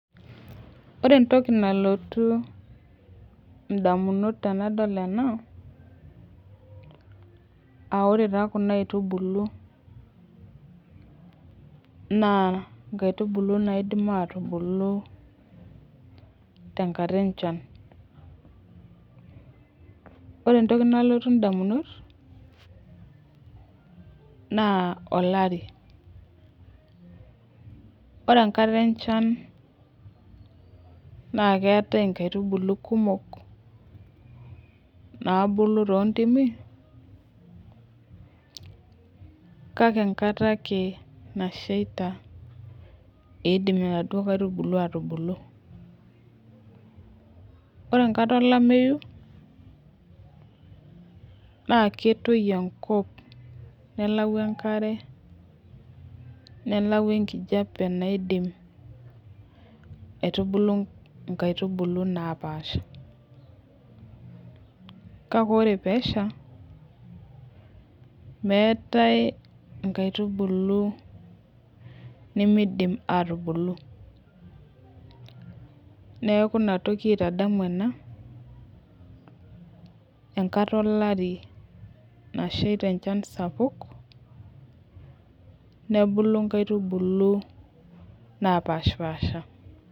Ore entoki nalotu damunot tenadol ena. ore taa Kuna aitubulu, naa nkaitubulu naidim atubulu, tenkata enchan. ore entoki nalotu damunot naa olari. ore enkata enchan naa keetae nkaitubulu kumok, naabulu too ntimi, kake enkata ake nasheita, eidim inaduoo kaitubulu aatubulu. ore enkata olameyu, naa ketii enkop melau enkare. nelau enkijiape naidim, aitubulu nkaitubulu nepaasha. kake ore peesha, meetae nkaitubulu nimidim aatubulu. neeku Ina toki aitadamu ena, enkata olari nasheita enchan sapuk, nebulu nkaitubulu.